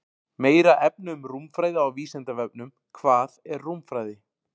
Meira efni um rúmfræði á Vísindavefnum: Hvað er rúmfræði?